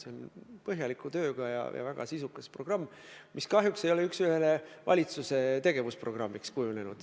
See on põhjaliku töö tulemus ja väga sisukas programm, mis kahjuks ei ole üks ühele valitsuse tegevusprogrammiks kujunenud.